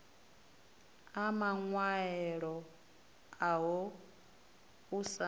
a maṅwaelo aho u sa